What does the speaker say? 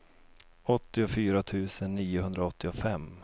åttiofyra tusen niohundraåttiofem